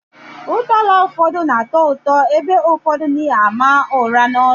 Ụdala ụfọdụ na atọ ụtọ, ebe ụfọdụ na àmà ụra n'onu